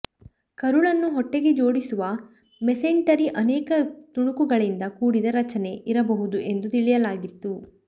ಕರುಳನ್ನು ಹೊಟ್ಟೆಗೆ ಜೋಡಿಸುವ ಮೆಸೆಂಟರಿ ಅನೇಕ ತುಣುಕುಗಳಿಂದ ಕೂಡಿದ ರಚನೆ ಇರಬಹುದು ಎಂದು ತಿಳಿಯಲಾಗಿತ್ತು